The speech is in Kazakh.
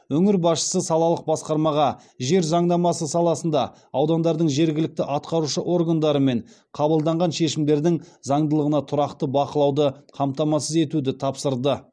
өңір басшысы салалық басқармаға жер заңнамасы саласында аудандардың жергілікті атқарушы органдарымен қабылданған шешімдердің заңдылығына тұрақты бақылауды қамтамасыз етуді тапсырды